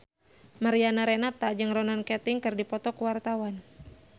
Mariana Renata jeung Ronan Keating keur dipoto ku wartawan